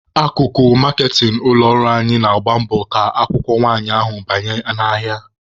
Akụkụ maaketịn ụlọ ọrụ anyị na-agba mbọ ka akwụkwọ nwanyị ahụ banye n'ahịa.